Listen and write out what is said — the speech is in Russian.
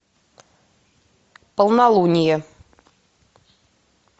полнолуние